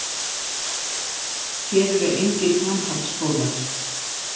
Hér eru engir framhaldsskólar.